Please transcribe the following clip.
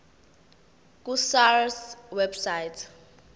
ku sars website